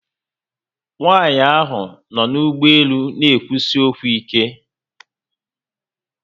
Nwaanyi ahu no n'ugboelu n'ekwusi okwu ike